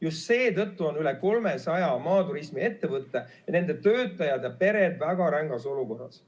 Just seetõttu on üle 300 maaturismiettevõtte, nende töötajad ja pered väga rängas olukorras.